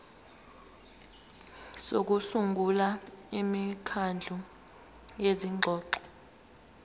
sokusungula imikhandlu yezingxoxo